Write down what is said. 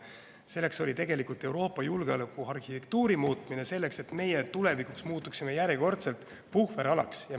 Selleks oli tegelikult Euroopa julgeolekuarhitektuuri muutmine, et me muutuksime tulevikus järjekordselt puhveralaks.